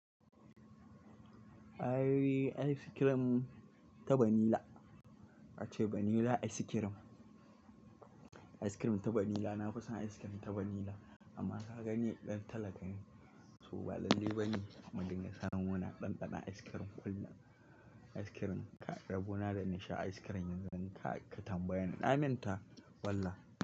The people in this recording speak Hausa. Eh ice cream ta vanilla. Ace vanilla ice cream. Ice cream ta vanilla. Amma kaga ni ɗan talaka ne so ba lallai bane in ringa samun ina ɗanɗana ice cream kullum rabo na da na sha ic cream yanzu. Kai katambayeni na manta.